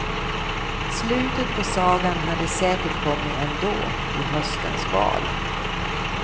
Slutet på sagan hade säkert kommit ändå, i höstens val.